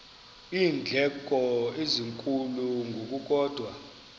iindleko ezinkulu ngokukodwa